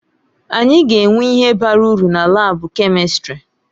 Anyị ga-enwe ihe bara uru na laabu kèmistrị.